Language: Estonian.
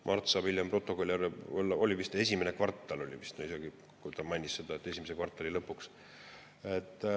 Mart saab hiljem protokolli, oli vist esimene kvartal – ta mainis seda, et esimese kvartali lõpuks.